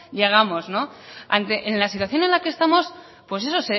llegamos ante la situación en la que estamos pues eso